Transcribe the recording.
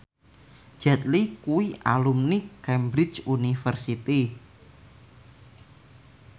Jet Li kuwi alumni Cambridge University